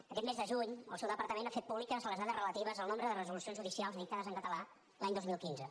aquest mes de juny el seu departament ha fet públiques les dades relatives al nombre de resolucions judicials dictades en català l’any dos mil quinze